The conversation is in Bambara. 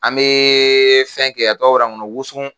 An beee fɛn kɛ a tɔgɔ bɔra nkɔnɔ wonso